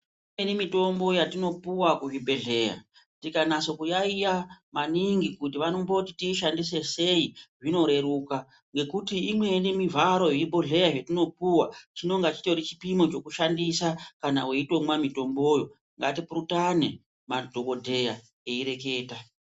Imweni mitombo yatinopiwa kuzvibhedhleya ikanase kuyaiya maningi kuti vanomboti tiishandise sei zvinoreruka ngekuti imweni mivharo yezvíbhodhleya zvatinopiwa chinenga chitori chipimo chekushandisa kana weitomwa mutomboyo ngatipurutane madhokodheya ereketa